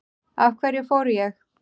Af hverju fór ég?